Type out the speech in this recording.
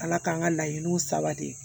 Ala k'an ka laɲiniw sabati